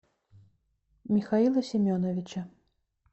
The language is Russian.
михаила семеновича